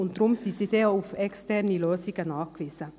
Deshalb sind sie denn auch auf externe Lösungen angewiesen.